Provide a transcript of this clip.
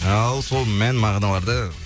ал сол мән мағыналарды